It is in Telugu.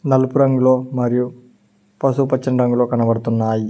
నలుపు రంగులో మరియు పసుపు పచ్చని రంగులో కనబడుతున్నాయి.